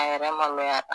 A yɛrɛ ma n'a